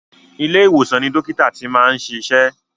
Ilé ìwòsan ni àwọn dókítà ti máa ń ṣiṣẹ́.